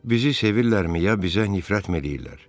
Bizi sevirlərmi, ya bizə nifrətmi eləyirlər?